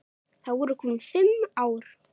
Þá eru komin fimm ár.